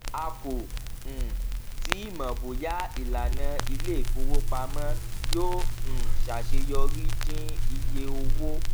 a kò um tíì mọ bóyá ìlànà iléìfowópamọ yóò um ṣaṣeyọrí dín iye owó